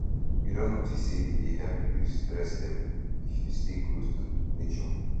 you don notice sey e dey help reduce stress level if you stay close to to nature